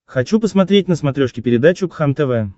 хочу посмотреть на смотрешке передачу кхлм тв